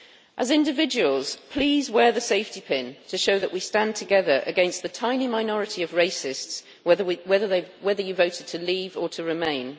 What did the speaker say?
As individuals, please wear the safety pin, to show that we stand together against the tiny minority of racists, whether you voted to leave or to remain.